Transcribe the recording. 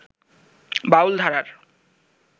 বাউল ধারার